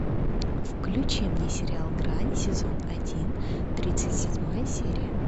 включи мне сериал грань сезон один тридцать седьмая серия